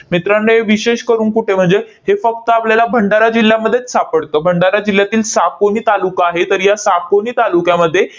मित्रांनो, हे विशेष करून कुठे म्हणजे हे फक्त आपल्याला भंडारा जिल्ह्यामध्येच सापडतं. भंडारा जिल्ह्यातील सापोली तालुका आहे. तर या सापोली तालुक्यामध्ये